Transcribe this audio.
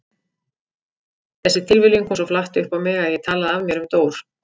Þessi tilviljun kom svo flatt upp á mig að ég talaði af mér um Dór.